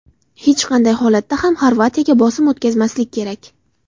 Hech qanday holatda ham Xorvatiyaga bosim o‘tkazmaslik kerak.